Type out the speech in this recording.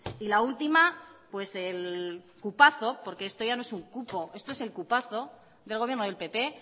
y la última el cupazo porque esto ya no es un cupo esto es el cupazo del gobierno del pp